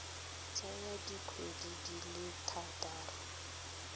tsaya dikgwedi di le thataro